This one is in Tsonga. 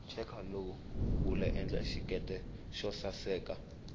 cheka lowu wula endla xiketi xosaseka